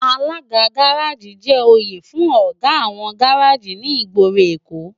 Àlágá gàráji jè óyé fún ógá áwòn gàráji ni igbóró Ékó